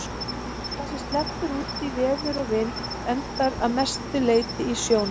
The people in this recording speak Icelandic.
Það sem sleppur út í veður og vind endar að mestu leyti í sjónum.